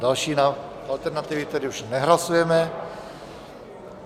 Další alternativy tedy už nehlasujeme.